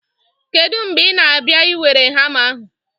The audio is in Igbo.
Kedu mgbe ị na-abịa iwere hama ahụ?